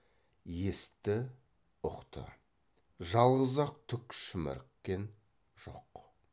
есітті ұқты жалғыз ақ түк шіміріккен жоқ